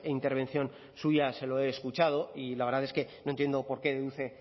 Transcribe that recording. intervención suya se lo he escuchado y la verdad es que no entiendo por qué deduce